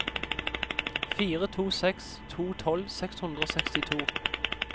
fire to seks to tolv seks hundre og sekstito